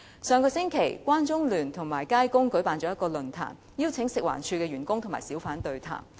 上星期，關綜聯和街工舉辦了一個論壇，邀請了食物環境衞生署員工和小販對談。